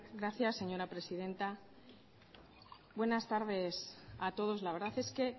gracias señora presidenta buenas tardes a todos la verdad es que